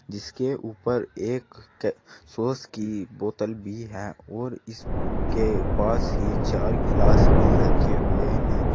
जिसके ऊपर एक अह सॉस की बोतल भी है और इसके पास ही चार गिलास भी रखे हुए हैं।